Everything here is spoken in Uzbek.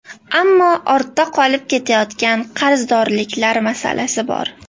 Ammo ortda qolib ketayotgan qarzdorliklar masalasi bor.